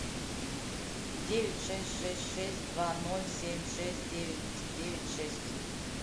девять шесть шесть шесть два ноль семь шесть девять девять шесть